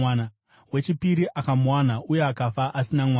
Wechipiri akamuwana uye akafa asina mwana.